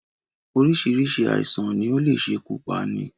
Oríṣiríṣi àìsàn ni ó le ṣekú pani